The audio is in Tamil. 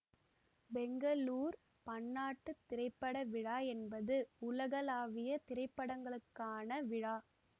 பெங்களூர் பன்னாட்டு திரைப்பட விழா என்பது உலகளாவிய திரைப்படங்களுக்கான விழா